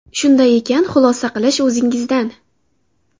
Shunday ekan, xulosa qilish o‘zingizdan”.